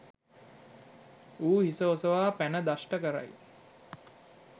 ඌ හිස ඔසවා පැන දෂ්ට කරයි.